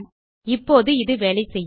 இப்போது இது வேலை செய்யும்